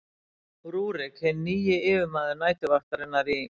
rúrík hinn nýji yfirmaður næturvaktarinnar í